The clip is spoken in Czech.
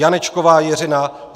Janečková Jiřina